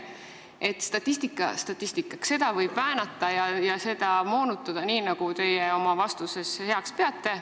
Statistika statistikaks, seda võib väänata ja moonutada nii, nagu teie oma vastuses heaks peate.